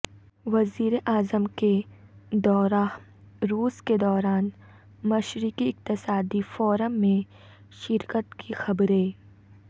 وزیراعظم کے دورہ روس کے دوران مشرقی اقتصادی فورم میں شرکت کی خبریں